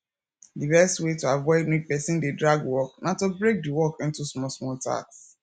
di best way to avoid make person dey drag work na to break di work into small small tasks